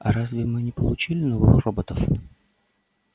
а разве мы не получили новых роботов